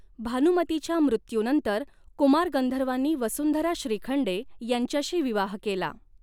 भानुमतीच्या मृत्यूनंतर कुमार गंधर्वांनी वसुंधरा श्रीखंडे यांच्याशी विवाह केला.